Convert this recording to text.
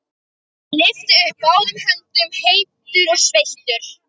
Lyfti upp báðum höndum, heitur og sveittur.